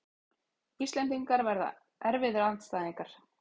Íslendingar verða erfiðir andstæðingar